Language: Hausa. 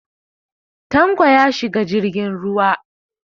Tanko ya shiga jirgin ruwa.